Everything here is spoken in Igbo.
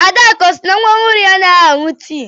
Adakụ ọ sị na nwa ọhụrụ ya anaghị aṅụ tii?